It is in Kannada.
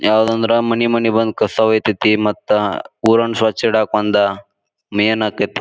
ಯಾವದಂದ್ರ ಮನಿ ಮನಿಗ್ ಬಂದ್ ಕಸಾ ವೈತೇತಿ ಮತ್ತ ಊರನ್ ಸ್ವಚ್ ಇಡಾಕ್ಕ ಒಂದ ಮೇನ್ ಆಕ್ಕೇತಿ.